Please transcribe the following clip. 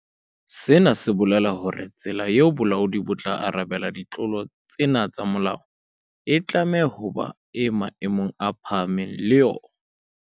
Sena se bolela hore tsela eo bolaodi bo tla arabelang ditlolo tsena tsa molao e tlameha ho ba e maemong a phahameng le yona.